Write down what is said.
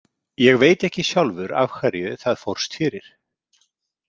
Ég veit ekki sjálfur af hverju það fórst fyrir.